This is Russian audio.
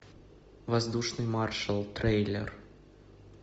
воздушный маршал трейлер